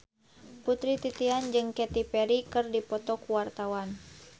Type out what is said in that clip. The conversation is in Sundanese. Putri Titian jeung Katy Perry keur dipoto ku wartawan